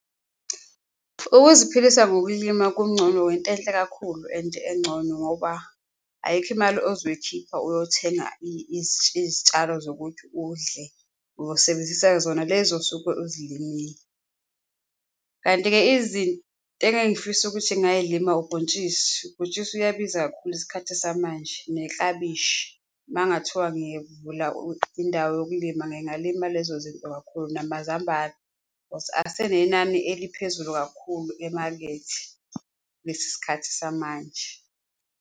Ukuziphilisa ngokulima kungcono intenhle kakhulu and engcono ngoba ayikho imali ozoyikhipha uyothenga izitshalo zokuthi udle, uyosebenzisa zona lezo osuke uzilimile, kanti-ke engeke ngifise ukuthi ngingayilima ubhontshisi. Ubhontshisi uyabiza kakhulu isikhathi samanje neklabishi. Uma kungathiwa indawo yokulima, ngingalima lezo zinto kakhulu namazambane, cause asenenani eliphezulu kakhulu emakethe kulesi sikhathi samanje.